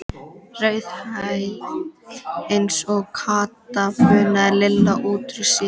Rauðhærð eins og Kata, bunaði Lilla út úr sér.